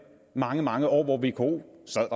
mange mange år hvor vko sad